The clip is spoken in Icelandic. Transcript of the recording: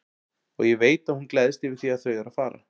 Og ég veit að hún gleðst yfir því að þau eru að fara.